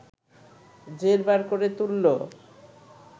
জেরবার করে তুলল